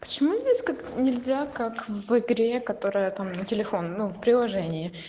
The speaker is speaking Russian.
почему здесь нельзя как в игре которая там на телефон ну в приложении